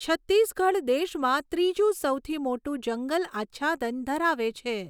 છત્તીસગઢ દેશમાં ત્રીજું સૌથી મોટું જંગલ આચ્છાદન ધરાવે છે.